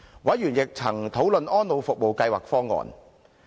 委員亦曾討論安老服務計劃方案。